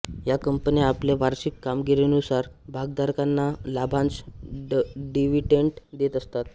या कंपन्या आपल्या वार्षिक कामगिरीनुसार भागधारकांना लाभांश डिवीडेंट देत असतात